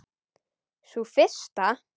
Sú fyrsta?